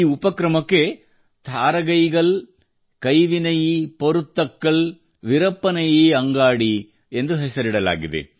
ಈ ಉಪಕ್ರಮಕ್ಕೆ ಥಾರಗಯಿಗಲ್ ಕಯಿವಿನಯೀ ಪೊರುತ್ತಕ್ಕಳ್ ವಿರಪ್ಪನಯೀ ಅಂಗಾಡಿ ಎಂದು ಹೆಸರಿಸಲಾಗಿದೆ